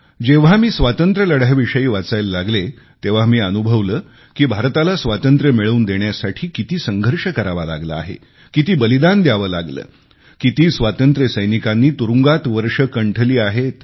जेव्हा मी स्वातंत्र्य लढ्याविषयी वाचायाला लागले तेव्हा मी अनुभवले की भारताला स्वातंत्र्य मिळवून देण्यासाठी किती संघर्ष करावा लागला आहे किती बलिदान द्यावे लागले किती स्वातंत्र्य सैनिकांनी तुरुंगात वर्षं कंठली आहेत